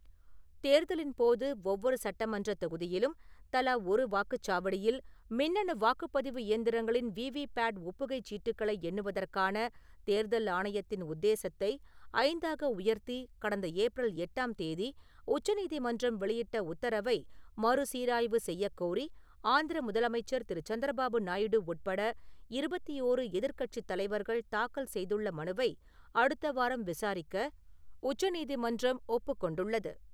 தேர்தலின்போது ஒவ்வொரு சட்டமன்றத் தொகுதியிலும் தலா ஒரு வாக்குச் சாவடியில் மின்னணு வாக்குப்பதிவு இயந்திரங்களின் வீ வி பேட் ஒப்புகைச் சீட்டுக்களை எண்ணுவதற்கான தேர்தல் ஆணையத்தின் உத்தேசத்தை ஐந்தாக உயர்த்தி கடந்த ஏப்ரல் எட்டாம் தேதி உச்ச நீதிமன்றம் வெளியிட்ட உத்தரவை மறுசீராய்வு செய்யக் கோரி ஆந்திர முதலமைச்சர் திரு.சந்திரபாபு நாயுடு உட்பட இருவத்தி ஓரு எதிர்க்கட்சித் தலைவர்கள் தாக்கல் செய்துள்ள மனுவை அடுத்த வாரம் விசாரிக்க உச்ச நீதிமன்றம் ஒப்புக் கொண்டுள்ளது